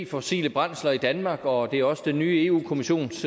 fossile brændsler i danmark og det er også den nye europa kommissions